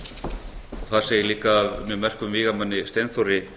landnámsmanni þar segir líka af mjög merkum vígamanni steinþóri